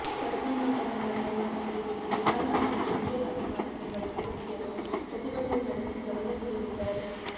ಪದ್ಮನಾಭನಗರ ನಿವಾಸದ ಎದುರು ನೂರಾರು ಮಂದಿ ಪ್ರಜ್ವಲ್ ಅಭಿಮಾನಿ ಸಂಘದ ಸದಸ್ಯರು ಪ್ರತಿಭಟನೆ ನಡೆಸಿ ಗಮನ ಸೆಳೆದಿದ್ದಾರೆ